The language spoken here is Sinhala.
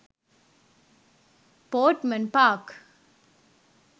portmen park